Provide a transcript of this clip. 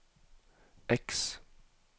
X